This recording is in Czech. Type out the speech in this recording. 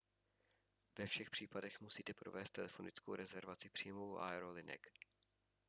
ve všech případech musíte provést telefonickou rezervaci přímo u aerolinek